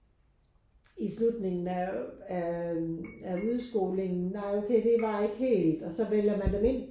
I slutningen af af af udskolingen nej okay det var ikke helt og så vælger man dem ind